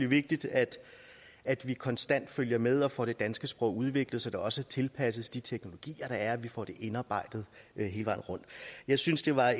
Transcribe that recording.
vigtigt at at vi konstant følger med og får det danske sprog udviklet så det også tilpasses de teknologier der er og vi får det indarbejdet hele vejen rundt jeg synes det var